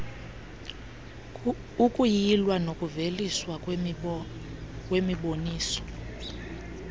ukuyilw nokuveliswa kwemiboniso